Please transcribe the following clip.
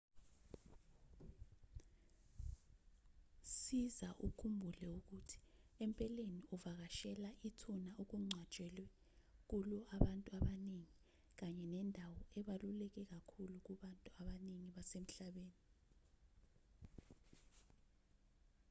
siza ukhumbule ukuthi empeleni uvakashela ithuna okungcwatshwe kulo abantu abaningi kanye nendawo ebaluleke kakhulu kubantu abaningi basemhlabeni